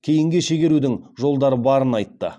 кейінге шегерудің жолдары барын айтты